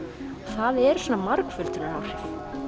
það eru svona margföldunaráhrif